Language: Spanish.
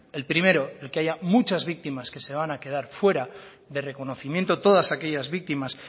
el primero el que haya muchas víctimas que se van a quedar fuera de reconocimiento todas aquellas víctimas